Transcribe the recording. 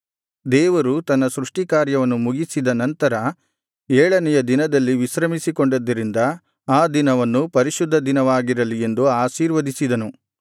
ದೇವರು ತನ್ನ ಸೃಷ್ಟಿ ಕಾರ್ಯವನ್ನು ಮುಗಿಸಿದ ನಂತರ ಏಳನೆಯ ದಿನದಲ್ಲಿ ವಿಶ್ರಮಿಸಿಕೊಂಡಿದ್ದರಿಂದ ಆ ದಿನವನ್ನು ಪರಿಶುದ್ಧ ದಿನವಾಗಿರಲಿ ಎಂದು ಆಶೀರ್ವದಿಸಿದನು